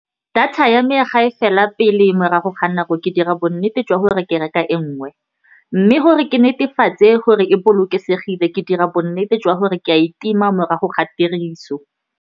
Data ya me ga e fela pele morago ga nako, ke dira bonnete jwa gore ke reka e nngwe. Mme gore ke netefatse gore e bolokesegile, ke dira bonnete jwa gore ke a e tima morago ga tiriso.